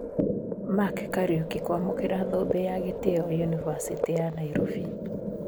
Mark Kariuki kũamukĩra thũmbĩ ya gĩtĩo yunivasĩtĩ ya Nairobi